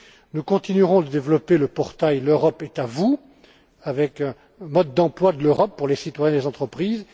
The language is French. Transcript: Nous continuerons de développer le portail l'Europe est à vous, avec un mode d'emploi de l'Europe pour les citoyens et les entreprises.